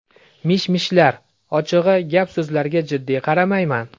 Mish-mishlar... Ochig‘i, gap-so‘zlarga jiddiy qaramayman.